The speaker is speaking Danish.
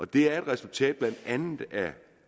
det er et resultat af blandt andet